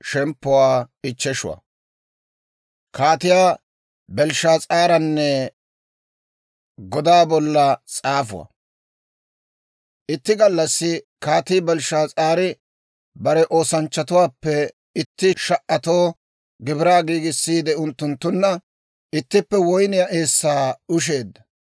Itti gallassi Kaatii Belshshaas'aari bare oosanchchatuwaappe itti sha"atoo gibiraa giigissiide unttunttunna ittippe woyniyaa eessaa ushsheedda.